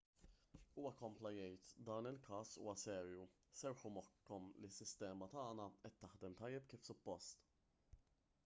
huwa kompla jgħid dan il-każ huwa serju serrħu moħħkom li s-sistema tagħna qed taħdem tajjeb kif suppost